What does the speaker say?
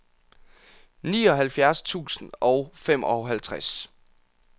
nioghalvfjerds tusind og femoghalvtreds